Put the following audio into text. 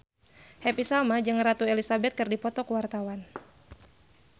Happy Salma jeung Ratu Elizabeth keur dipoto ku wartawan